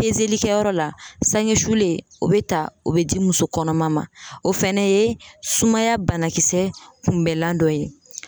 li kɛyɔrɔ la saŋe sulen o be ta o be di muso kɔnɔma ma. O fɛnɛ ye sumaya banakisɛ kunbɛlan dɔ ye.